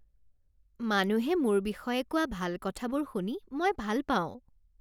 মানুহে মোৰ বিষয়ে কোৱা ভাল কথাবোৰ শুনি মই ভাল পাওঁ